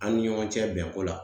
An ni ɲɔgɔn cɛ bɛnko la